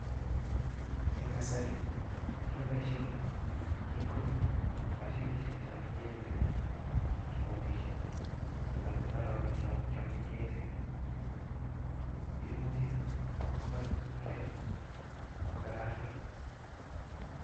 En kasari keboishien tingook mashinishiek choton Che echen kibotishien, kiboti mbarenikyok che echen, imuch Kobat imbaret kokararanit